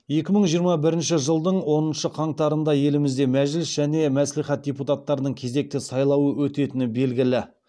екі мың жиырма бірінші жылдың оныншы қаңтарында елімізде мәжіліс және мәслихат депутаттарының кезекті сайлауы өтетіні белгілі